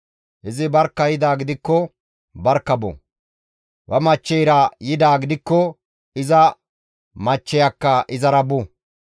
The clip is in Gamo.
Izi barkka yidaa gidikko barkka bo; ba machcheyra yidaa gidikko iza machcheyakka izara bu.